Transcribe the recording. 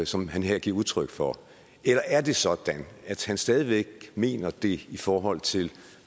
som han her giver udtryk for eller er det sådan at han stadig væk mener det i forhold til